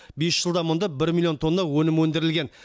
бес жылда мұнда бір миллион тонна өнім өндірілген